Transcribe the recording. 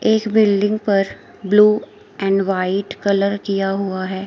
एक बिल्डिंग पर blue and white colour किया हुआ है।